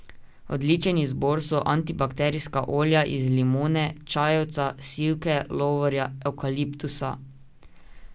Odličen izbor so antibakterijska olja iz limone, čajevca, sivke, lovorja, evkaliptusa ...